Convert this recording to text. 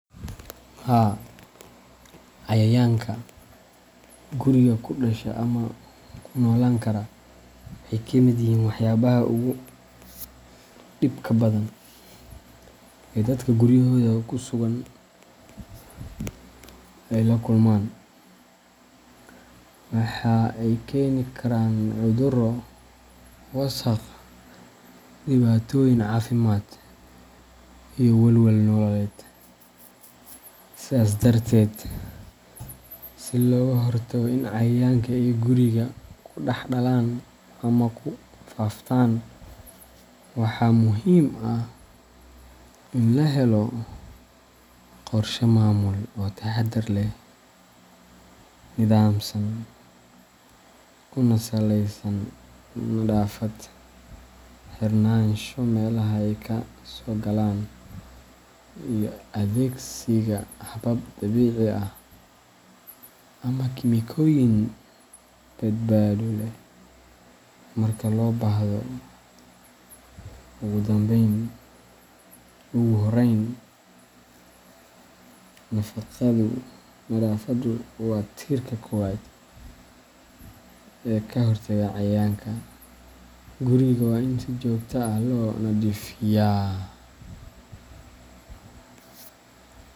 Haa, Cayayaanka guriga ku dhasha ama ku noolaan kara waxay ka mid yihiin waxyaabaha ugu dhibka badan ee dadka guryahooda ku sugan ay la kulmaan. Waxa ay keeni karaan cudurro, wasakh, dhibaatooyin caafimaad, iyo walwal nololeed. Sidaas darteed, si looga hortago in cayayaanka ay guriga ku dhex dhalan ama ku faaftaan, waxaa muhiim ah in la helo qorshe maamul oo taxadar leh, nidaamsan, kuna saleysan nadaafad, xirnaansho meelaha ay ka soo galaan, iyo adeegsiga habab dabiici ah ama kiimikooyin badbaado leh marka loo baahdo. Ugu horreyn, nadaafaddu waa tiirka koowaad ee ka hortagga cayayaanka. Guriga waa in si joogto ah loo nadiifiyaa.